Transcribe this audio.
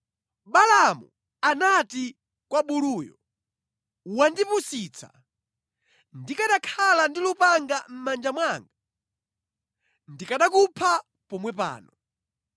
Balaamu anati kwa buluyo, “Wandipusitsa, ndikanakhala ndi lupanga mʼmanja mwanga, ndikanakupha pomwe pano.”